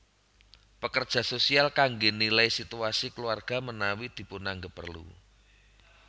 Pekerja sosial kangge nilai situasi keluarga menawi dipunanggap perlu